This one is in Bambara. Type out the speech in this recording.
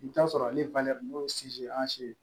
I bi t'a sɔrɔ ale n'o